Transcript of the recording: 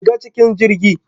Shiga cikin jirgi.